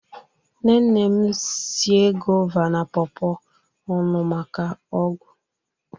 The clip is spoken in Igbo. nne nne m sie guava na pawpaw ọnụ maka ọgwụ